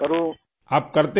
آپ کرتے کیا ہیں راجیش جی ؟